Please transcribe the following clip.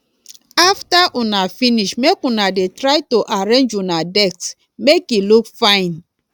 after una finish make una dey try to arrange una desk make e look fine